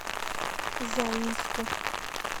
заинску